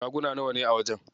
Shaguna nawane a wajen?